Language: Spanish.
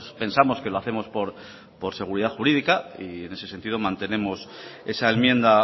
pensamos que lo hacemos por seguridad jurídica y en ese sentido mantenemos esa enmienda